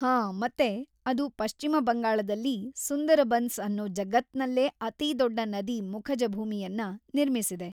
ಹಾ ಮತ್ತೆ, ಅದು ಪಶ್ಚಿಮ ಬಂಗಾಳದಲ್ಲಿ ಸುಂದರ್‌ಬನ್ಸ್‌ ಅನ್ನೋ ಜಗತ್ನಲ್ಲೇ ಅತಿದೊಡ್ಡ ನದಿ ಮುಖಜಭೂಮಿಯನ್ನ ನಿರ್ಮಿಸಿದೆ.